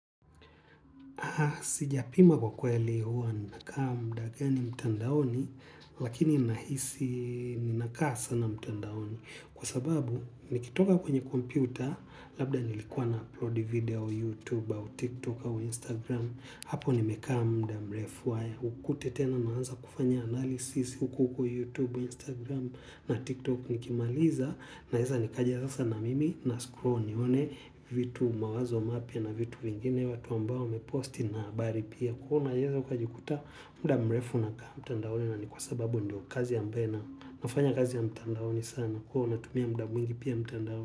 Sijapima kwa kweli huwa nina kaa muda gani mtandaoni lakini nahisi nina kaa sana mtandaoni kwa sababu nikitoka kwenye kompyuta labda nilikua na upload video YouTube au Tiktok au Instagram hapo nimekaa muda mrefu vitu mawazo mapia na vitu vingine watu ambao wame posti na bari pia kuhuna yezo kwa jikuta mda mrefu na kama mtandaone na ni kwa sababu ndio kazi ya mbena nafanya kazi ya mtandaone sana kuhuna tumia mda mwingi pia mtandaone.